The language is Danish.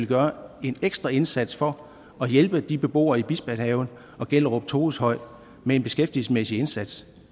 gøre en ekstra indsats for at hjælpe de beboere i bispehaven og gellerup toveshøj med en beskæftigelsesmæssig indsats